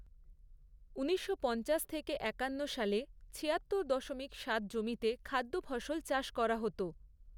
ঊনিশশো পঞ্চাশ থেকে একান্ন সালে ছিয়াত্তর দশমিক সাত জমিতে খাদ্যফসল চাষ করা হত।